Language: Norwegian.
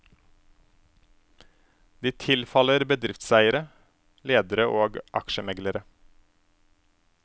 De tilfaller bedriftseiere, ledere og aksjemeglere.